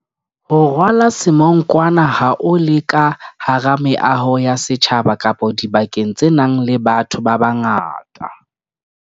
Ho rwala semonkwana ha o le ka hara meaho ya setjhaba kapa dibakeng tse nang le batho babangata.